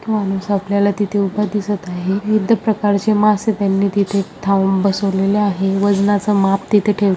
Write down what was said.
माणूस आपल्याला तिथे उभा दिसत आहे विविध प्रकारचे मासे त्यांनी तिथे थाऊन बसवलेले आहे वजनाच माप तिथे ठेव--